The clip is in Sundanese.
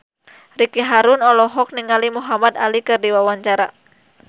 Ricky Harun olohok ningali Muhamad Ali keur diwawancara